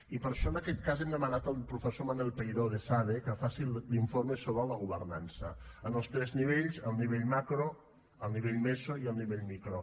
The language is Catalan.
i per això en aquest cas hem demanat al professor manel peiró d’esade que faci l’informe sobre la governança en els tres nivells el nivell macro el nivell meso i el nivell micro